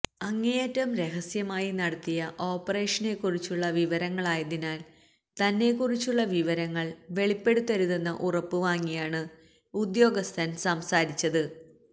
അങ്ങേയറ്റം രഹസ്യമായി നടത്തിയ ഓപ്പറേഷനെക്കുറിച്ചുള്ള വിവരങ്ങളായതിനാൽ തന്നെക്കുറിച്ചുള്ള വിവരങ്ങൾ വെളിപ്പെടുത്തരുതെന്ന ഉറപ്പ് വാങ്ങിയാണ് ഉദ്യോഗസ്ഥൻ സംസാരിച്ചത്